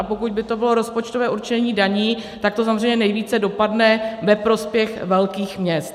A pokud by to bylo rozpočtové určení daní, tak to samozřejmě nejvíce dopadne ve prospěch velkých měst.